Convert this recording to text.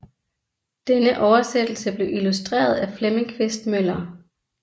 Denne oversættelse blev illustreret af Flemming Quist Møller